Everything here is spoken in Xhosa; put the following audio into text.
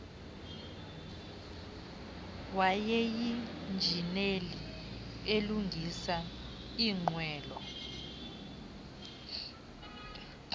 wayeyinjineli elungisa iinqwelo